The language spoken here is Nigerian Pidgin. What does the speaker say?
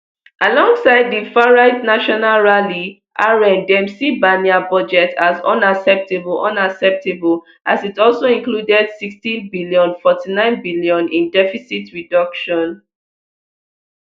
alongside di farright national rally rn dem see barnier budget as unacceptable unacceptable as it also included sixtybn forty-ninebn in deficit reduction